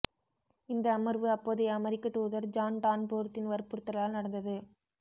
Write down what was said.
இந்த அமர்வு அப்போதைய அமெரிக்கத் தூதர் ஜான் டான்போர்த்தின் வற்புறுத்தலால் நடந்தது